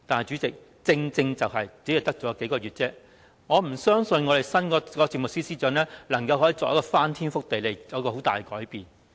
主席，正正因為只餘數個月的時間，我不相信新任政務司司長能夠作出翻天覆地的改變。